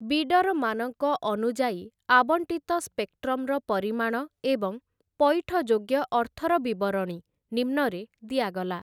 ବିଡରମାନଙ୍କ ଅନୁଯାୟୀ ଆବଣ୍ଟିତ ସ୍ପେକ୍ଟ୍ରମର ପରିମାଣ ଏବଂ ପଇଠଯୋଗ୍ୟ ଅର୍ଥର ବିବରଣୀ ନିମ୍ନରେ ଦିଆଗଲା ।